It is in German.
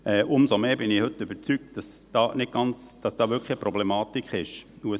Umso mehr bin ich heute überzeugt, dass hier wirklich eine Problematik vorliegt.